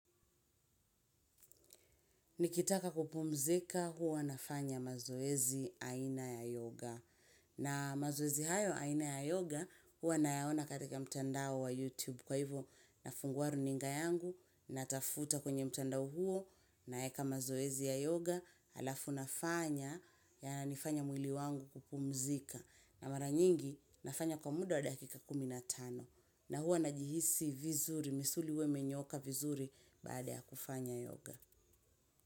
Nikitaka kupumzika huwa nafanya mazoezi aina ya yoga na mazoezi hayo aina ya yoga huwa nayaona katika mtandao wa youtube kwa hivo nafungua runinga yangu natafuta kwenye mtandao huo naeka mazoezi ya yoga halafu nafanya yananifanya mwili wangu kupumzika na mara nyingi nafanya kwa muda wa dakika kumi na tano na huwa najihisi vizuri misuli huwa imenyooka vizuri baada ya kufanya yoga.